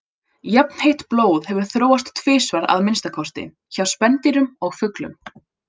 Jafnheitt blóð hefur þróast tvisvar að minnsta kosti, hjá spendýrum og fuglum.